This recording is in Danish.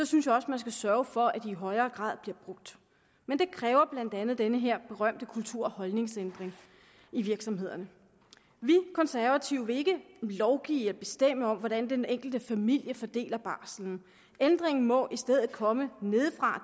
synes jeg også man skal sørge for at de i højere grad bliver brugt men det kræver blandt andet den her berømte kultur og holdningsændring i virksomhederne vi konservative vil ikke lovgive om og bestemme hvordan den enkelte familie fordeler barsel ændringen må i stedet komme nedefra